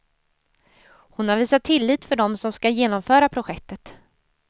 Hon har visat tillit för dem som skall genomföra projekten.